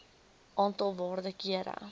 aantal waarde kere